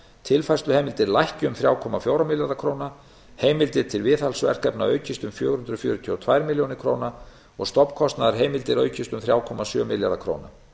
tilfærsluheimildir lækki um þrjú komma fjóra milljarða króna heimildir til viðhaldsverkefna aukist um fjögur hundruð fjörutíu og tvær milljónir króna og stofnkostnaðarheimildir aukist um þrjú komma sjö milljarða króna